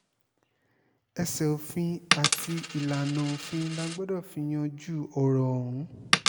ẹsẹ̀ òfin àti ìlànà òfin la gbọ́dọ̀ fi yanjú ọ̀rọ̀ ọ̀hún